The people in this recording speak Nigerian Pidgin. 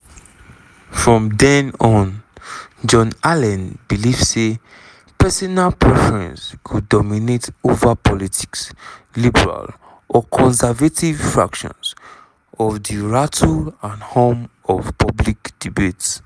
from den on john allen believe say personal preference go dominate ova politics liberal or conservative factions or di "rattle and hum of public debate".